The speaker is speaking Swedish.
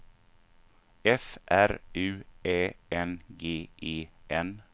F R U Ä N G E N